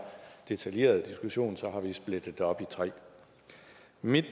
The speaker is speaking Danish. detaljeret diskussion har vi splittet det op i tre mit